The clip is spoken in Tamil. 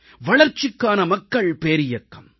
வளர்ச்சிக்கான மக்கள் பேரியக்கம்